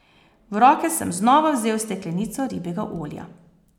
V roke sem znova vzel steklenico ribjega olja.